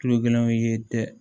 Kilo kelen ye tɛ